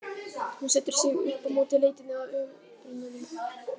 Hún setur sig upp á móti leitinni að upprunanum.